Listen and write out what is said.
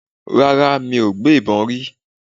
Rárá, mi ò gbé ìbọn rí.